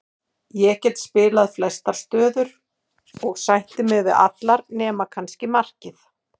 Ég get spilað flestar stöður og sætti mig við allt nema kannski markið.